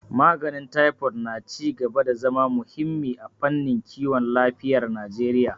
Maganin Taifod na ci gaba da zama muhimmi a fannin kiwon lafiyar Najeriya